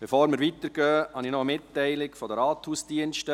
Bevor wir weiterfahren, habe ich eine Mitteilung des Rathausdienstes: